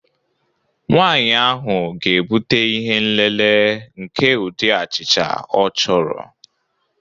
Nwanyị ahụ ga-ebute ihe nlele nke ụdị achịcha ọ chọrọ